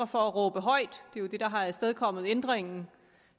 for at råbe højt det er jo det der har afstedkommet ændringen